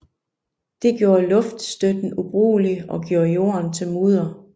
Det gjorde luftstøtten ubrugelig og gjorde jorden til mudder